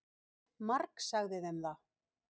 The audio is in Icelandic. Margsagði þeim það.